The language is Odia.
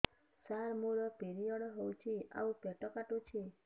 ସାର ମୋର ପିରିଅଡ଼ ହେଇଚି ଆଉ ପେଟ କାଟୁଛି